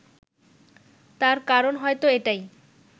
তার কারণ হয়তো এটাই